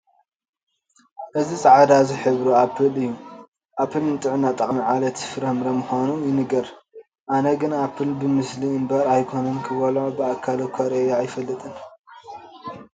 እዚ ፃዕዳ ዝሕብሩ ኣፕል እዬ፡፡ ኣፕል ንጥዕና ጠቓሚ ዓሌት ፍረ ምዃኑ ይንገር፡፡ ኣነ ግን ንኣፕል ብምስሊ እምበር ኣይኮነን ክበልዖ ብኣካል እዃ ርኤዮ ኣይፈልጥን፡፡